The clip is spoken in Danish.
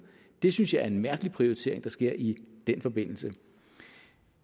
det synes jeg er en mærkelig prioritering der sker i den forbindelse